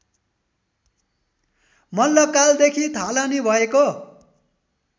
मल्लकालदेखि थालनी भएको